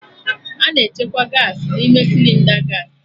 A na-echekwa Gaasị n'ime Sịlịnda gaasị